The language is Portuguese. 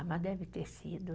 Mas deve ter sido.